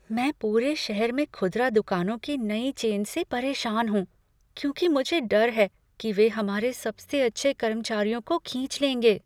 मैं पूरे शहर में खुदरा दुकानों की नई चेन से परेशान हूँ, क्योंकि मुझे डर है कि वे हमारे सबसे अच्छे कर्मचारियों को खींच लेंगे।